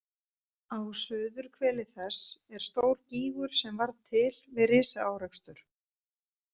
Á suðurhveli þess er stór gígur sem varð til við risaárekstur.